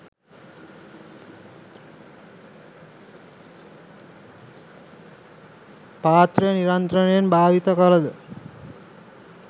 පාත්‍රය නිරන්තරයෙන් භාවිත කළද